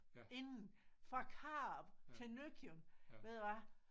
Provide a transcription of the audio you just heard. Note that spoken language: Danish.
Inden fra Karup til Nøkken ved du hvad